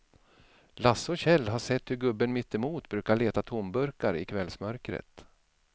Lasse och Kjell har sett hur gubben mittemot brukar leta tomburkar i kvällsmörkret.